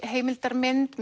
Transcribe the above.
heimildarmynd